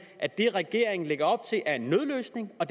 at det regeringen lægger op til er en nødløsning og